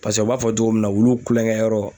Paseke u b'a fɔ togo min na ,wulu kulonkɛyɔrɔ